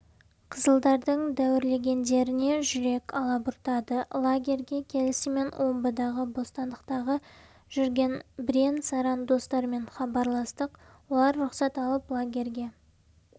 қызылдардың дәуірлегендеріне жүрек алабұртады лагерьге келісімен омбыдағы бостандықтағы жүрген бірен-саран достармен хабарластық олар рұқсат алып лагерьге